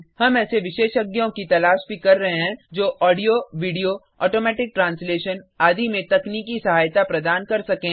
हम ऐसे विशेषज्ञों की तलाश भी कर रहे हैं जो ऑडियो वीडियो ऑटोमैटिक ट्रांसलेशन आदि में तकनीकी सहायता प्रदान कर सकें